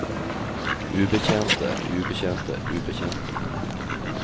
ubetjente ubetjente ubetjente